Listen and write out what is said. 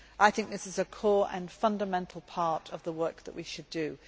I think this is a core and fundamental part of the work that we should